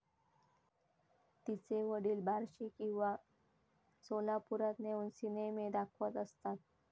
तिचे वडील बार्शी किंवा सोलापुरात नेऊन सिनेमे दाखवत असतात.